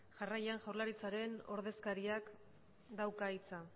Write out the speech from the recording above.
jarraian jaurlaritzako ordezkariak dauka hitza